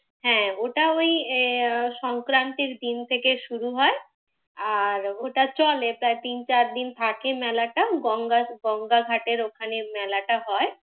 হ্যাঁ ওটা ওই সংক্রান্তির দিন থেকে শুরু হয়, আর ওটা চলে প্রায় তিন চার দিন থাকে মেলাটা। গঙ্গা, গঙ্গা ঘাটের ওখানে মেলাটা হয়।